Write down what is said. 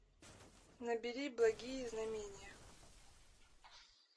набери благие знамения